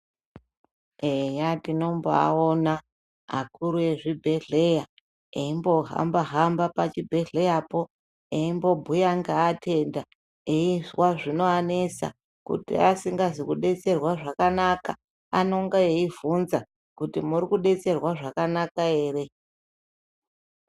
Eya tinombaaona akuru ezvibhedhlera eimbohamba-hamba pachibhedhleyapo, eimbobhuya ngaatenda eizwa zvinoanesa. Kuti asingazi kudetserwa zvakanaka, anonga eibvunza kuti murikudetserwa zvakanaka ere.